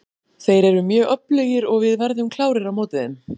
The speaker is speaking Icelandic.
Þeir eru mjög öflugir og við verðum klárir á móti þeim.